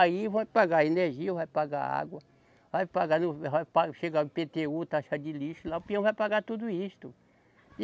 Aí vai pagar energia, vai pagar água, vai pagar o, vai pa, chegar o IpêTêU, taxa de lixo lá, o peão vai pagar tudo isso.